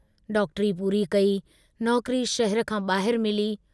डॉक्टरी पूरी कई, नौकरी शहर खां बाहिर मिली।